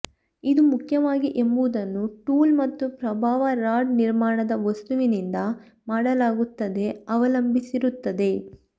ಇದು ಮುಖ್ಯವಾಗಿ ಎಂಬುದನ್ನು ಟೂಲ್ ಮತ್ತು ಪ್ರಭಾವ ರಾಡ್ ನಿರ್ಮಾಣದ ವಸ್ತುವಿನಿಂದ ಮಾಡಲಾಗುತ್ತದೆ ಅವಲಂಬಿಸಿರುತ್ತದೆ